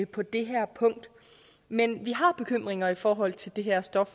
på det her punkt men vi har bekymringer i forhold til det her stof